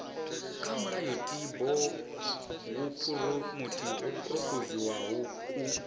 kwa mulayotibe wo phurophoziwaho ku